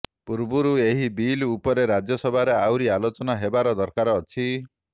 ପୂର୍ବରୁ ଏହି ବିଲ ଉପରେ ରାଜ୍ୟସଭାରେ ଆହୁରି ଆଲୋଚନା ହେବାର ଦରକାର ଅଛି